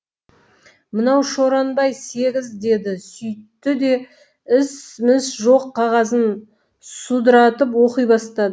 мынау шорнабай сегіз деді сүйтті де іс міс жоқ қағазын судыратып оқи бастады